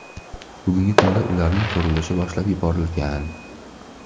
Bugungi kunda ularning qurilishi boshlab yuborilgan.